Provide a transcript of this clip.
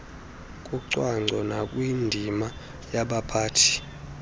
kucwangco nakwindima yabaphathi